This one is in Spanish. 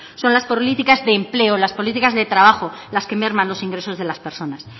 son las políticas de empleo las políticas de trabajo las que merman los ingresos de las personas